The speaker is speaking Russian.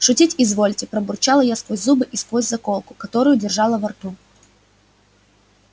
шутить изволите пробурчала я сквозь зубы и сквозь заколку которую держала во рту